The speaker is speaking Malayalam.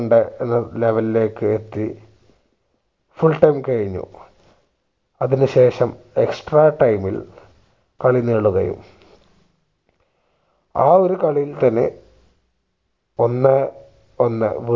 ണ്ട് level ലേക്ക് എത്തി full time കഴിഞ്ഞു അതിനു ശേഷം extra time ഇൽ കളി നീളുകയും ആ കളിയിൽ തന്നെ ഒന്നേ ഒന്ന്